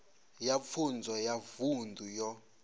ya pfunzo ya vunḓu yo